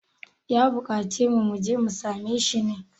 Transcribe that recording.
ya buƙaci mu je mu same shi ne?